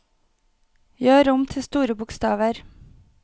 Gjør om til store bokstaver